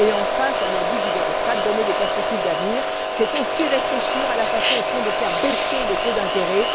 Et, enfin, comme l'a dit Guy Verhofstadt, donner des perspectives d'avenir, c'est aussi réfléchir à la façon, au fond, de faire baisser les taux d'intérêt.